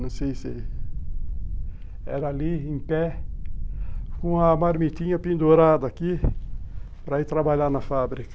Não sei se... Era ali, em pé, com a marmitinha pendurada aqui, para ir trabalhar na fábrica.